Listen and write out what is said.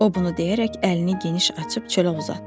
O bunu deyərək əlini geniş açıb çölə uzatdı.